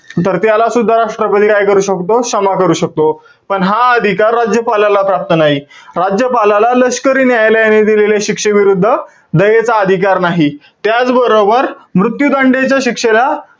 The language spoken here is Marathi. तर त्याला सुद्धा राष्ट्रपती काय करू शकतो? क्षमा करू शकतो. पण हा अधिकार राज्यपालाला प्राप्त नाही. राज्यपालाला लष्करी न्यायालयाने दिलेल्या शिक्षेविरुद्ध दयेचा अधिकार नाही.